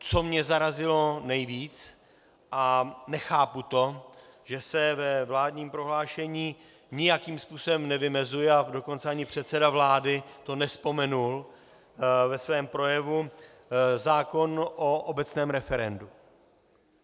Co mě zarazilo nejvíc a nechápu to, že se ve vládním prohlášení nijakým způsobem nevymezuje, a dokonce ani předseda vlády to nevzpomenul ve svém projevu, zákon o obecném referendu.